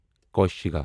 کوشیگا